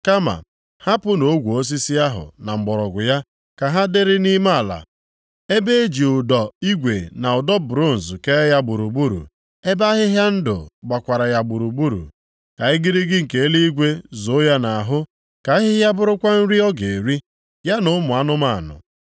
Kama hapụnụ ogwe osisi ahụ na mgbọrọgwụ ya ka ha dịrị nʼime ala, ebe e ji ụdọ igwe na ụdọ bronz kee ya gburugburu, ebe ahịhịa ndụ gbakwara ya gburugburu. “ ‘Ka igirigi nke eluigwe zoo ya nʼahụ, ka ahịhịa bụrụkwa nri ọ ga-eri, ya na ụmụ anụmanụ.